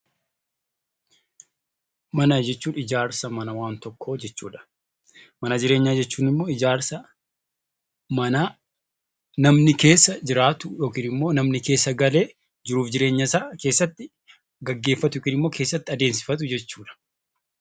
Mana jechuun ijaarsa mana waan tokkoo jechuudha. Mana jireenyaa jechuun immoo ijaarsa manaa namni keessa jiraatu yookiin immoo namni keessa galee jiruu fi jireenyasaa gaggeeffatu yookaan keessatti adeemsifatu jechuudha.